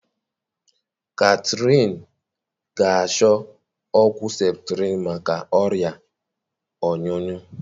Kathyrn ga achọ ọgwụ septrin maka ọrịa ọnyụnyu